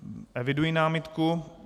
Eviduji námitku.